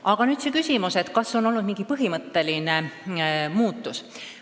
Aga nüüd vastus küsimusele, kas on olnud mingi põhimõtteline muutus.